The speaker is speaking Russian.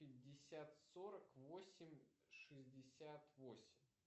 пятьдесят сорок восемь шестьдесят восемь